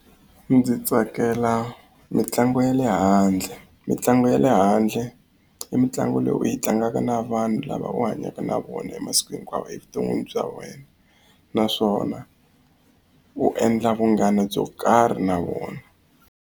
Ndzi tsakela mitlangu ya le handle mitlangu ya le handle i mitlangu leyi u yi tlangaka na vanhu lava u hanyaka na vona e masiku hinkwawo evuton'wini bya wena naswona u endla vunghana byo karhi na vona.